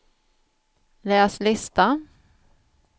läs lista